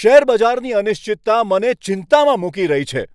શેરબજારની અનિશ્ચિતતા મને ચિંતામાં મૂકી રહી છે!